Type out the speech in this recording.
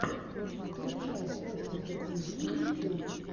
включай костика тиви ютьюб